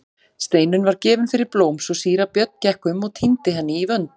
Steinunn var gefin fyrir blóm svo síra Björn gekk um og tíndi henni í vönd.